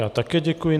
Já také děkuji.